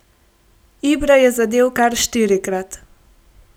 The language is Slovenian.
Ibra je zadel kar štirikrat.